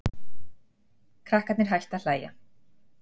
Krakkarnir hættu að hlæja.